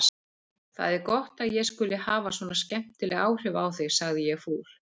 Það er gott að ég skuli hafa svona skemmtileg áhrif á þig sagði ég fúl.